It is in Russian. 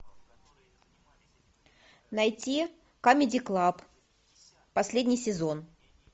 найти камеди клаб последний сезон